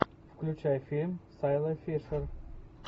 включай фильм с айлой фишер